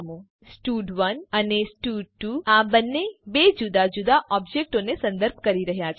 અહીં સ્ટડ1 અને સ્ટડ2 આ બંને બે જુદા જુદા ઓબજેક્ટોને સંદર્ભ કરી રહ્યા છે